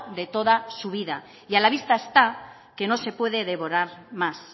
de toda su vida y a la vista está que no se puede demorar más